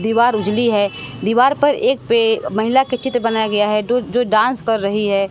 दीवार उजली है दीवार पर एक पे महिला के चित्र बनाया गया है डो जो डांस कर रही है।